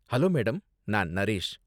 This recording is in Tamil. Hello madam. நான் நரேஷ்.